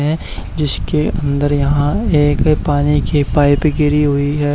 हैं जिसके अंदर यहां एक पानी की पाइप गिरी हुई है।